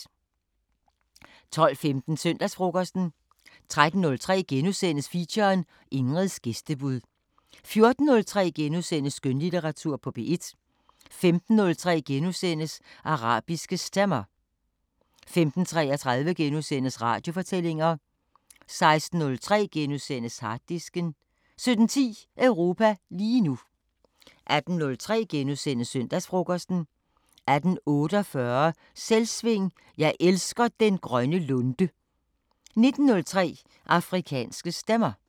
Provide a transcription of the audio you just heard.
12:15: Søndagsfrokosten 13:03: Feature: Ingrids gæstebud * 14:03: Skønlitteratur på P1 * 15:03: Arabiske Stemmer * 15:33: Radiofortællinger * 16:03: Harddisken * 17:10: Europa lige nu 18:03: Søndagsfrokosten * 18:48: Selvsving: Jeg elsker den grønne Lunde 19:03: Afrikanske Stemmer